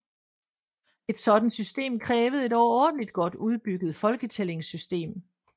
Et sådant system krævede et overordentlig godt udbygget folketællingssystem